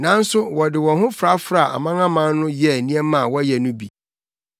nanso wɔde wɔn ho frafraa amanaman no yɛɛ nneɛma a wɔyɛ no bi.